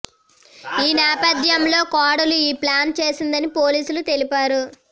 ఈ నేపథ్యంలో కోడలు ఈ ప్లాన్ చేసిందని పోలీసులు తెలిపారు